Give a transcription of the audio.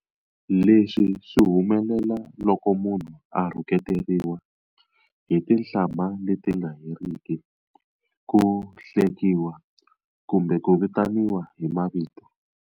Leswi swi humelela loko munhu a rhuketeriwa hi tihlambha leti nga heriki, ku hlekiwa ku mbe ku vitaniwa hi mavito.